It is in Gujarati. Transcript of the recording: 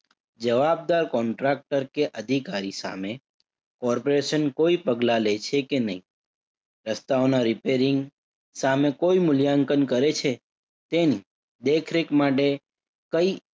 જવાબદાર contractor કે અધિકારી સામે corporation કોઈ પગલાં લે છે કે નહિ. રસ્તાઓના repairing સામું કોઈ મૂલ્યાંકન કરે છે તેની દેખરેખ માટે કઈ